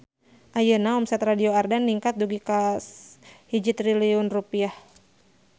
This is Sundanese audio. Ayeuna omset Radio Ardan ningkat dugi ka 1 triliun rupiah